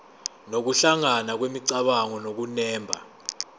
nokuhlangana kwemicabango nokunemba